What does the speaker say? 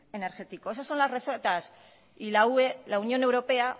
energético esas son las recetas y la ue la unión europea